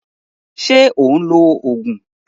Ṣé ò ń lo Ògùn?